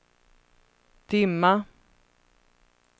dimma